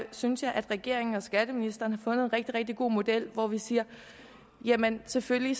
synes jeg regeringen og skatteministeren har fundet en rigtig god model hvor vi siger jamen selvfølgelig